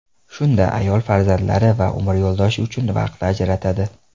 Shunda ayol farzandlari va umr yo‘ldoshi uchun vaqt ajratadi.